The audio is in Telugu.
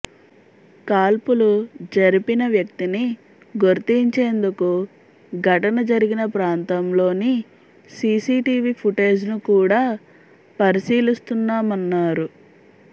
కాల్పులు జరిపిన వ్యక్తిని గుర్తించేందుకు ఘటన జరిగిన ప్రాంతంలోని సీసీ టీవీఫుటేజ్ ను కూడా పరిశీలిస్తున్నామన్నారు